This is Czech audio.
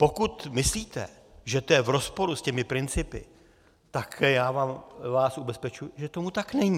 Pokud myslíte, že to je v rozporu s těmi principy, tak já vás ubezpečuji, že tomu tak není.